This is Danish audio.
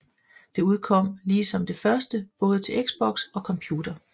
Det udkom ligesom det første både til Xbox og computer